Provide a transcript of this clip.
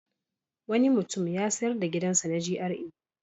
Wani mutum ya sayar da gidansa na GRA.